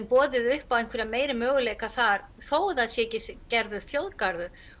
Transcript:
boðið upp á einhverja meiri möguleika þar þótt að það sé ekki gerður þjóðgarður